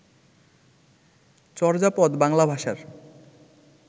চর্যাপদ বাংলা ভাষার